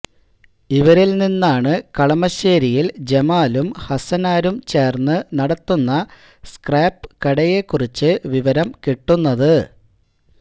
ഇവരില് നിന്നാണ് കളമശ്ശേരിയില് ജമാലും ഹസനാരും ചേര്ന്ന് നടത്തുന്ന സ്ക്രാപ്പ് കടയെക്കുറിച്ച് വിവരം കിട്ടുന്നത്